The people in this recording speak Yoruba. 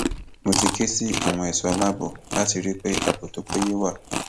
mo ti ké sí àwọn ẹṣọ aláàbọ láti rí i pé ààbò tó péye wà